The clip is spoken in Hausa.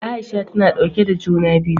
Aisha ta na ɗauke da juna biyu.